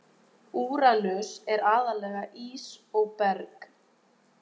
Úranus er aðallega ís og berg.